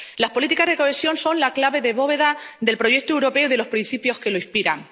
Las políticas de cohesión son la clave de bóveda del proyecto europeo y de los principios que lo inspiran.